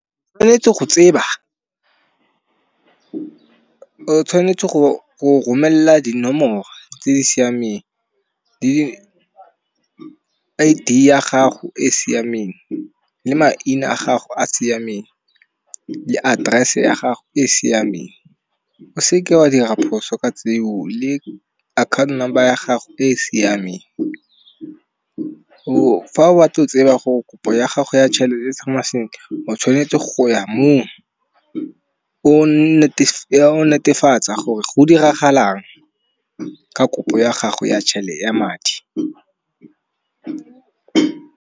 O tshwanetse go tseba, o tshwanetse go romelela dinomoro tse di siameng, le I_D ya gago e siameng. Le maina a gago a siameng, di address ya gago e siameng. O seke wa dira phoso ka tseo le account number ya gago e e siameng, fa o batla go tseba gore kopo ya gago ya tšhelete tsamaya sentle, o tshwanetse go ya moo o netefatsa gore go diragalang ka kopo ya gago ya tshele ya madi.